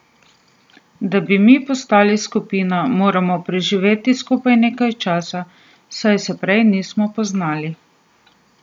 Da bi mi postali skupina, moramo preživeti skupaj nekaj časa, saj se prej nismo poznali.